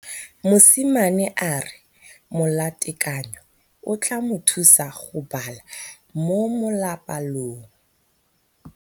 Mosimane a re molatekanyô o tla mo thusa go bala mo molapalong.